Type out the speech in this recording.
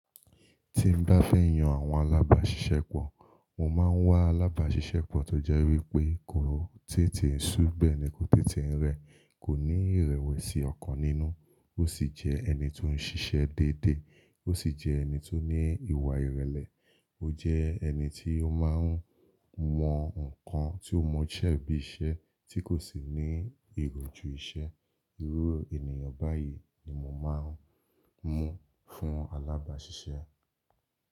Tí n bá fẹ́ yan àwọn alábàáṣiṣẹ́pọ̀, mo máa ń wá alábàáṣiṣẹ́pọ̀ tó jẹ́ wípé kò tètè sú bẹ̀e ni kò tètè ń rẹ̀, kò ní ìrẹ̀wẹ̀sì ọ̀kan nínú, ó sì jẹ́ ẹni tó ń ṣiṣẹ́ déédé, ó sì jẹ́ ẹni tó ní ìwà ìrẹ̀lẹ̀, ó jẹ́ ẹni tí ó máa ń mọ nǹkan tí ó mọ ṣẹ́ bí iṣẹ́ tí kò sì ní ìròjú iṣẹ́. Irú ènìyàn báyìí ni mo máa ń mú fún alábàáṣiṣẹ́.